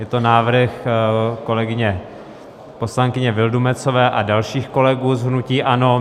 Je to návrh kolegyně poslankyně Vildumetzové a dalších kolegů z hnutí ANO.